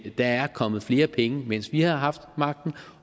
der er kommet flere penge mens vi har haft magten